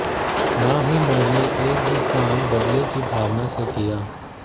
न ही मैंने एक भी काम बदले की भावना से किया